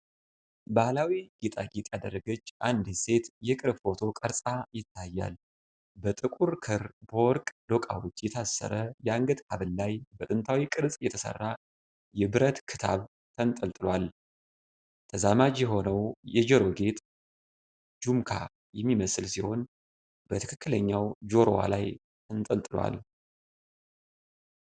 ባህላዊ ጌጣጌጥ ያደረገች አንዲት ሴት የቅርብ ፎቶ ቀረጻ ይታያል። በጥቁር ክር በወርቅ ዶቃዎች የታሰረ የአንገት ሐብል ላይ በጥንታዊ ቅርጽ የተሠራ የብረት ክታብ ተንጠልጥሏል። ተዛማጅ የሆነው የጆሮ ጌጥ "ጁምካ" የሚመስል ሲሆን በትክክለኛው ጆሮዋ ላይ ተንጠልጥሏል።